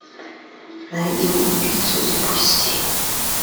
нати убийцу запусти